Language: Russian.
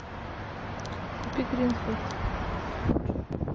купи гринфилд